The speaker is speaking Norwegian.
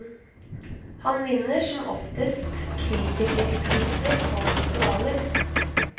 Han vinner som oftest kritikerpriser på festivaler.